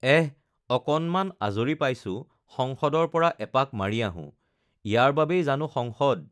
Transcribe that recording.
এঃ অকণমান আজৰি পাইছোঁ সংসদৰ পৰা এপাক মাৰি আহোঁ, ইয়াৰ বাবেই জানো সংসদ?